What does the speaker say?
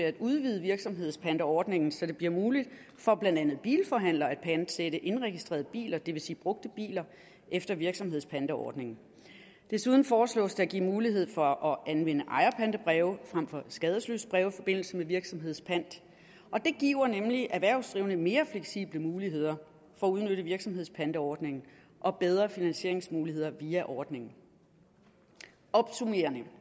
at udvide virksomhedspanteordningen så det bliver muligt for blandt andet bilforhandlere og at pantsætte indregistrerede biler det vil sige brugte biler efter virksomhedspanteordningen desuden foreslås det at give mulighed for at anvende ejerpantebreve frem for skadesløsbreve i forbindelse med virksomhedspant og det giver nemlig erhvervsdrivende mere fleksible muligheder for at udnytte virksomhedspantsordningen og bedre finansieringsmuligheder via ordningen opsummerende